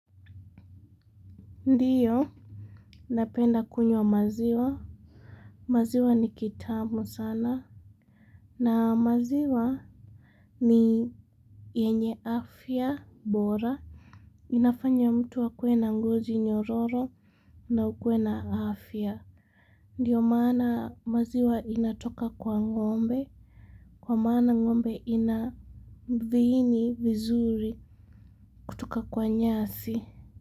Ndiyo, napenda kunywa maziwa, maziwa ni kitamu sana, na maziwa ni yenye afya, bora, inafanya mtu akue na ngozi nyororo, na ukue na afya. Ndiyo maana maziwa inatoka kwa ngombe, kwa maana ngombe ina viini vizuri, kutoka kwa nyasi.